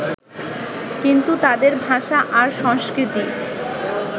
কিন্তু তাদের ভাষা আর সংস্কৃতি